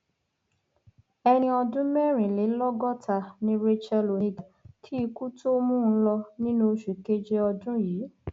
ẹni ọdún mẹrìnlélọgọta ni racheal oníga kí ikú tóo mú un lò nínú oṣù keje ọdún yìí